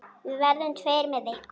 Við verðum tveir með ykkur.